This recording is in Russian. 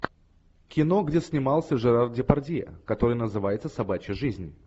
кино где снимался жерар депардье которое называется собачья жизнь